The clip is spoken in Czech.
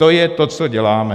To je to, co děláme.